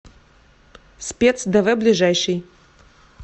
спец дв ближайший